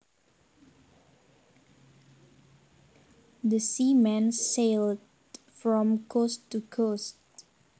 The seaman sailed from coast to coast